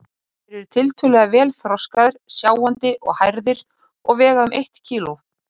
Þeir eru tiltölulega vel þroskaðir, sjáandi og hærðir og vega um eitt kíló.